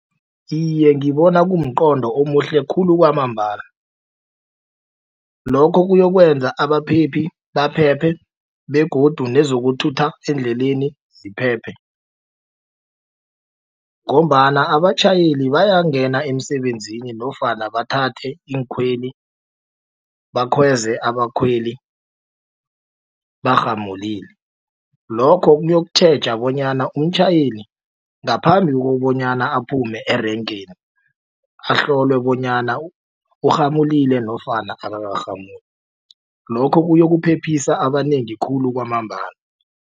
Iye ngibona kumqondo omuhle khulu kwamambala lokho kuyokwenza abaphephi baphephe begodu nezokuthutha endleleni ziphephe ngombana abatjhayeli bayangena emisebenzini nofana bathathe iinkhweli bakhweze abakhweli barhamulile. Lokho kuyokutjheja bonyana umtjhayeli ngaphambi kobanyana aphume erenkeni ahlolwe bonyana urhamulile nofana akakarhamuli lokho kuyokuphephisa abanengi khulu kwamambala.